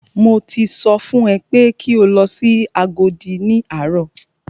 Mo ti sọ fún ẹ pé kí o lọ sí Agodi ní àárọ̀!